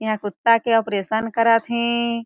इहा कुत्ता के ऑपरेशन करत हे।